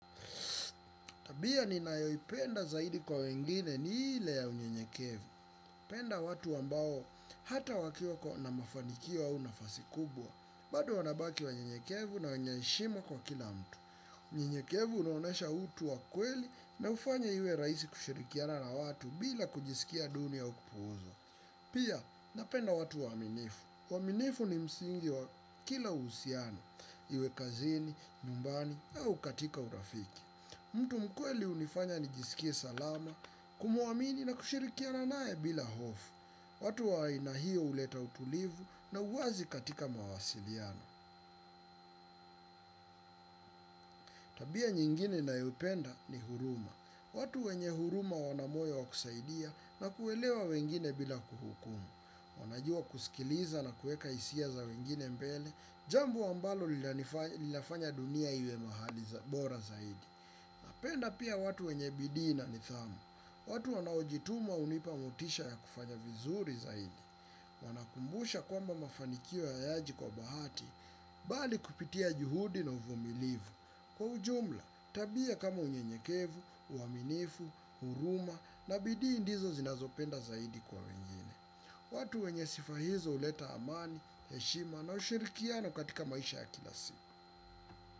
Tabia ninayo penda zaidi kwa wengine ni ile ya unyenyekevu. Penda watu ambao hata wakiwa kwa na mafanikio au nafasi kubwa. Bado wanabaki waunyenyekevu na wenye heshima kwa kila mtu. Unyenyekevu unaonyesha utu wa kweli naufanye iwe raisi kushirikiana na watu bila kujisikia duni au kupuuzwa. Pia napenda watu waaminifu. Waaminifu ni msingi wa kila usiano. Iwe kazini, nyumbani au katika urafiki. Mtu mkweli unifanya nijisikie salama, kumuamini na kushirikiana naye bila hofu. Watu wa aina hiyo uleta utulivu na uwazi katika mawasiliano. Tabia nyingine nayoipenda ni huruma. Watu wenye huruma wanamoyo wakusaidia na kuelewa wengine bila kuhukumu. Wanajua kusikiliza na kueka hisia za wengine mbele, jambo ambalo linafanya dunia iwe mahali za bora zaidi. Napenda pia watu wenye bidii ni nidhamu. Watu wanaojituma unipa motisha ya kufanya vizuri zaidi. Wanakumbusha kwamba mafanikio hayaji kwa bahati, bali kupitia juhudi na uvumilivu. Kwa ujumla, tabia kama unyenyekevu, uaminifu, huruma na bidii ndizo zinazopenda zaidi kwa wengine watu wenye sifa hizo huleta amani heshima na ushirikiano katika maisha ya kila siku.